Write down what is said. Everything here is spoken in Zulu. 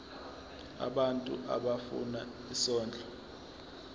abantu abafuna isondlo